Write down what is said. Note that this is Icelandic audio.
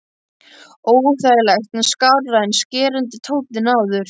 Óþægilegt en skárra en skerandi tónninn áður.